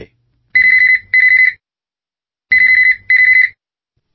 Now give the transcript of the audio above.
phone call